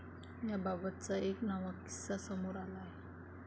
याबाबतचा एक नवा किस्सा समोर आला आहे.